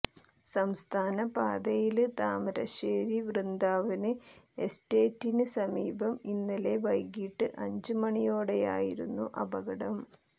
സംസ്ഥാന പാതയില് താമരശ്ശേരി വൃന്ദാവന് എസ്റ്റേറ്റിന് സമീപം ഇന്നലെ വൈകീട്ട് അഞ്ച് മണിയോടെയായിരുന്നു അപകടം